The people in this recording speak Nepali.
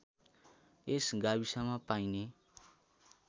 यस गाविसमा पाइने